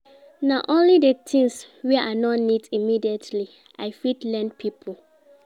Na only di tins wey I no need immediately I fit lend pipo.